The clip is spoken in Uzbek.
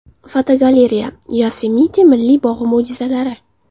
Fotogalereya: Yosemite Milliy bog‘i mo‘jizalari.